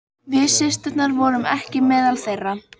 Í einstökum lögum er þar nokkuð um skeljar, einkum hallloku.